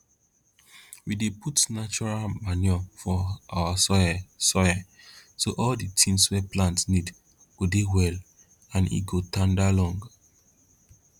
we dey put natural manure for our soil soil so all di things wey plant need go dey well and e go tanda long